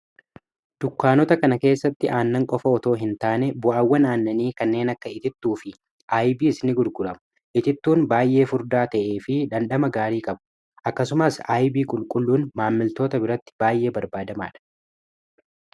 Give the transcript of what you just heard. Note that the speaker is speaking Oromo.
dukkaanota kana keessatti aannan qofa otoo hin taane bu'awwan aannanii kanneen akka itittuu fi ib isni gudguramu itittuun baay'ee furdaa ta'ee fi dandhama gaarii qabu akkasumaas yb qulqulluun maammiltoota biratti baay'ee barbaadamaa dha